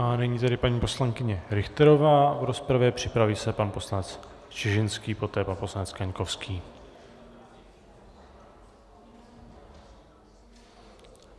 A nyní tedy paní poslankyně Richterová v rozpravě, připraví se pan poslanec Čižinský, poté pan poslanec Kaňkovský.